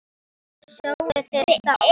Sáuð þið þá?